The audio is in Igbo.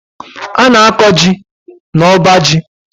A na- akọ jị na ọbá jị.